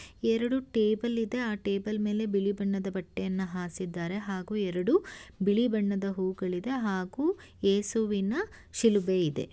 ಎರಡು ಟೇಬಲ್ ಇದೆ ಆ ಟೇಬಲ್ ಮೇಲೆ ಬಿಳಿ ಬಣ್ಣದ ಬಟ್ಟೆಯನ್ನ ಹಾಸಿದ್ದಾರೆ. ಹಾಗೂ ಎರಡು ಬಿಳಿ ಬಣ್ಣದ ಹೂಗಳಿದೆ ಹಾಗೂ ಯೇಸುವಿನ ಶಿಲುಬೆ ಇದೆ.